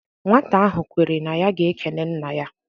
Nwata ahụ kwere na ya ga-ekene nna ya